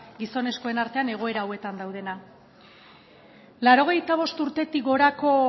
gizonezkoen artean egoera hauetan daudenak laurogeita bost urtetik gorako